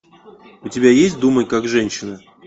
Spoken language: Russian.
у тебя есть думай как женщина